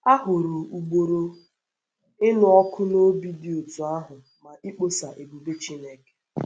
A hụrụ ugboro ugboro ịnụ ọkụ n’obi dị otú ahụ maka ịkpọsa ebube Chineke.